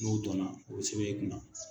N'o donna o bɛ sɛbɛ e kunna.